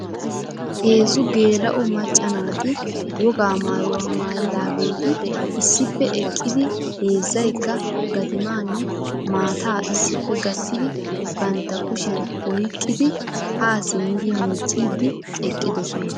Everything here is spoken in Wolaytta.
Heezzu geela"o macca naati wogaa maayuwa maayidaageeti issippe eqqidi heezzaykka gatimaanne maataa issippe gattidi bantta kushiyan oyqqidi haa simmidi miicciiddi eqqidosona.